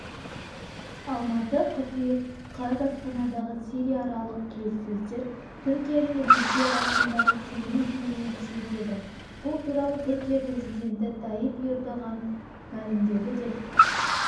алматы қыркүйек қаз астанадағы сирияаралық келіссөздер түркия мен ресей арасындағы сенім деңгейін күшейтеді бұл туралы түркия президенті тайип эрдоған мәлімдеді деп